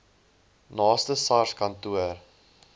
naaste sars kantoor